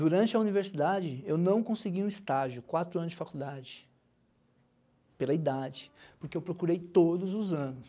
Durante a universidade, eu não consegui um estágio, quatro anos de faculdade, pela idade, porque eu procurei todos os anos.